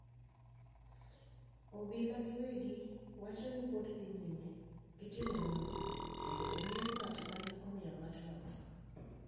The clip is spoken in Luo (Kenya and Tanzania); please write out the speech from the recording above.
Obila giwegi wacho ni pod dhi nyime gi timo nonro mondo ong’e ng’at ma ne omiyo ng’atno tho.